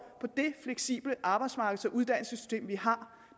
på det fleksible arbejdsmarkeds og uddannelsessystem vi har